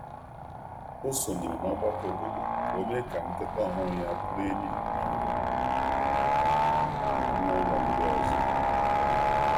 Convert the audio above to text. O sonyeere n’ọgbakọ obodo ka o mee ka nkịta ọhụrụ ya bụrụ enyi na anụ ụlọ ndị ọzọ.